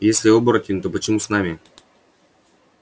если оборотень то почему с нами